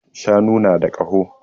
Shanu na da ƙaho